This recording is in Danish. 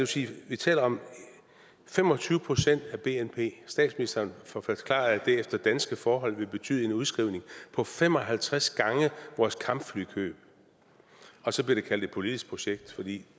sige vi taler om fem og tyve procent af bnp og statsministeren forklarede at det efter danske forhold ville betyde en udskrivning på fem og halvtreds gange vores kampflykøb og så blev det kaldt et politisk projekt for det